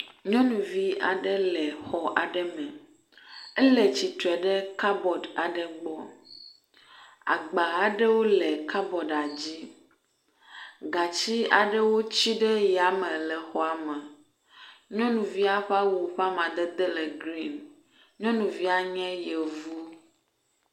Nyɔnuvi aɖe le xɔ aɖe me, ele tsitre ɖe kabɔd aɖe gbɔ, agba aɖewo le kabɔdia dzi, gatsi aɖewo tsi ɖe yame le exɔa me. Nyɔnuvia ƒe awu ƒe amadede le grin. Nyɔnuvia nye yevu.